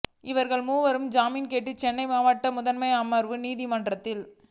இவர்கள் மூவரும் ஜாமீன் கேட்டு சென்னை மாவட்ட முதன்மை அமர்வு நீதிமன்றத்தில்